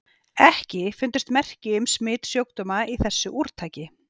EKKI FUNDUST MERKI UM SMITSJÚKDÓMA Í ÞESSU ÚRTAKI.